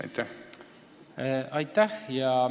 Aitäh!